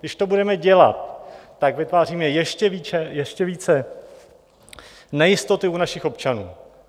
Když to budeme dělat, tak vytváříme ještě více nejistoty u našich občanů.